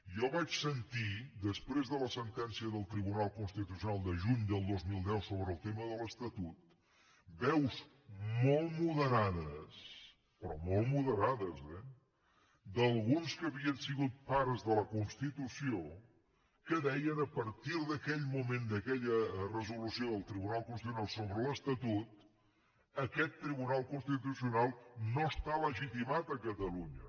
jo vaig sentir després de la sentència del tribunal constitucional de juny del dos mil deu sobre el tema de l’estatut veus molt moderades però molt moderades eh d’alguns que havien sigut pares de la constitució que deien a partir d’aquell moment d’aquella resolució del tribunal constitucional sobre l’estatut aquest tribunal constitucional no està legitimat a catalunya